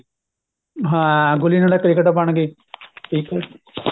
ਹਾਂ ਗੁੱਲੀ ਡੰਡਾ cricket ਬਣਗੀ ਇੱਕ ਮਿੰਟ